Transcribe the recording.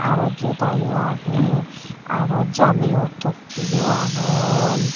araw joda yo agey arow jameyo tokke yo agon.